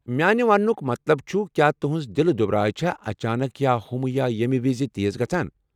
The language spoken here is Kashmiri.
میانہِ وننُک مطلب چُھ، کیٚا تہنٛز دلہٕ دُبراے چھا اچانک یا ہُمہٕ یا ییمہِ وِزِ تیز گژھان ؟